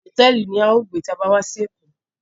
Hotẹẹli ni à yóò gbe ti a ba wà si Eko